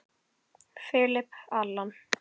Philip, Allan.